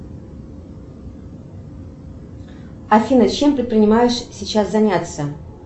афина чем предпринимаешь сейчас заняться